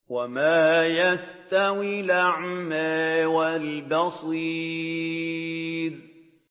وَمَا يَسْتَوِي الْأَعْمَىٰ وَالْبَصِيرُ